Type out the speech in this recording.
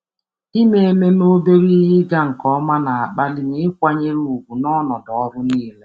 Ime ememe obere ihe ịga nke ọma na-akpali m ịkwanyere ùgwù n'ọnọdụ ọrụ niile.